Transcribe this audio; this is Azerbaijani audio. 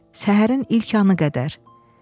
Səhərin ilk anı qədər.